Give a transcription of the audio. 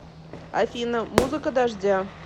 афина музыка дождя